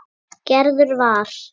Gerður var.